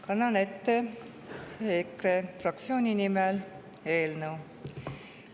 Kannan ette EKRE fraktsiooni nimel eelnõu.